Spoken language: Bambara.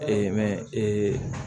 mɛ ee